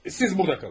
Siz burada qalın.